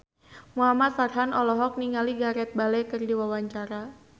Muhamad Farhan olohok ningali Gareth Bale keur diwawancara